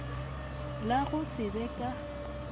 la go se be ka